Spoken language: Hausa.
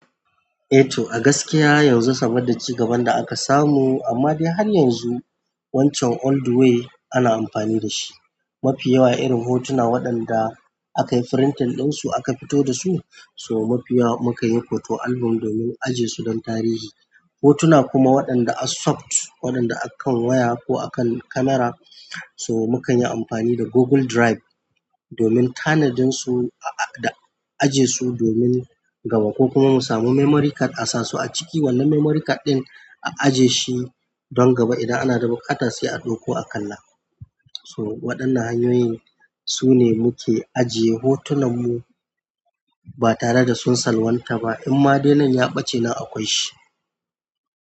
Eh to a gaskiya yanzu sabodda ci gaban da aka samu amma dai har yanzu wancan old way ana amfani da shi. Mafi yawa irin hotuna waɗanda aka yi firintin ɗinsu aka fito da su, so mafi yawa muka yi photo album domin ajiye su don tarihi. Hotuna kuma waɗanda a soft, waɗanda akan waya ko akan kamara, so muka yi amfani da Google Drive domin tanadin su a-a da ajiye su domin gaba ko kuma mu samu memory card a sa su a ciki wanda memory card ɗin a aje shi don gaba idan ana da buƙata sai a ɗoko a kalla. So waɗannan hanyoyin su ne muke ajiye hotunan mu ba tare da sun salwanta ba imma dai nan ya ɓace nan akwai shi.